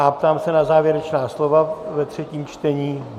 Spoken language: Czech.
A ptám se na závěrečná slova ve třetím čtení.